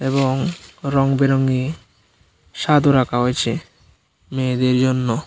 এবং রং বেরঙি স্বাদও রাখা হয়েছে মেয়েদের জন্য।